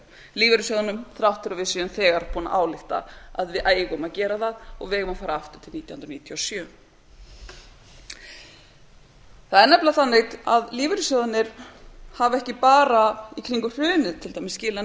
lífeyrissjóðunum þrátt fyrir að við séum þegar búin að álykta að við eigum að gera það og við eigum að fara aftur til nítján hundruð níutíu og sjö það er nefnilega þannig að lífeyrissjóðirnir hafa ekki bara í kringum hrunið til dæmis skilað